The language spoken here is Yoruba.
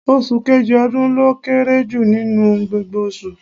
Oṣù kejì ọdún ló kéré jù nínú gbogbo oṣù.